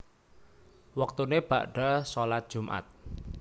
Wektune bakda shalat Jumat